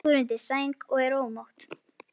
Er þá ekki bara að miða sig við það?